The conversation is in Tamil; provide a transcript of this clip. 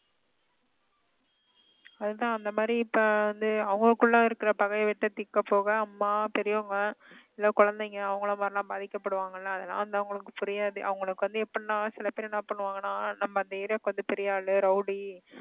அதுதான் அந்த மாதிரி இப்ப வந்து அவங்களுக்குள்ள இருக்கிற பகையை வெட்ட தீர்க்கப் போக அம்மா, பெரியவங்க இல்ல குழந்தைங்க அவங்களை மாதிரி எல்லாம் பாதிக்கப்படுவாங்கல்ல அதெல்லாம் வந்து அவங்களுக்கு புரியாது அவங்களுக்கு வந்து எப்படின்னா சில பேர் என்ன பண்ணுவாங்கன்னா நம்ம அந்த area க்கு வந்து பெரிய ஆளு rowdy